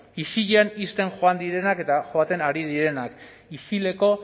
isilean ixten joan direnak eta joaten ari direnak isileko